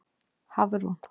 Hafrún